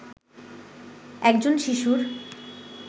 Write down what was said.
একজন শিশুর